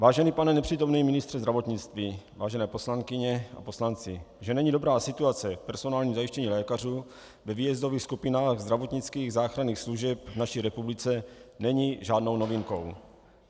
Vážený pane nepřítomný ministře zdravotnictví, vážené poslankyně a poslanci, že není dobrá situace v personálním zajištění lékařů ve výjezdových skupinách zdravotnických záchranných služeb v naší republice, není žádnou novinkou.